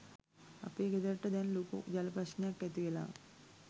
අපේ ගෙදරට දැන් ලොකු ජල ප්‍රශ්නයක්‌ ඇතිවෙලා